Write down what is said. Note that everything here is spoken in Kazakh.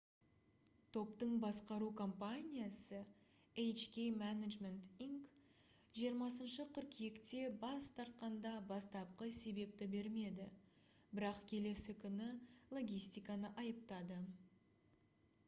топтың басқару компаниясы hk management inc 20 қыркүйекте бас тартқанда бастапқы себепті бермеді бірақ келесі күні логистиканы айыптады